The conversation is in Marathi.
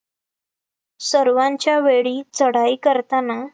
सर्वांच्या वेळी चढाई करताना,